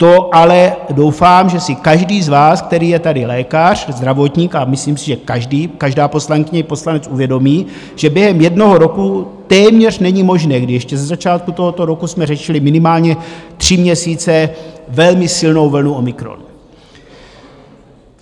To ale doufám, že si každý z vás, který je tady lékař, zdravotník, a myslím si, že každý, každá poslankyně, poslanec, uvědomí, že během jednoho roku téměř není možné, kdy ještě ze začátku tohoto roku jsme řešili minimálně tři měsíce velmi silnou vlnu omikron.